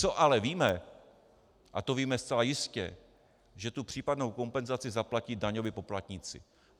Co ale víme, a to víme zcela jistě, že tu případnou kompenzaci zaplatí daňoví poplatníci.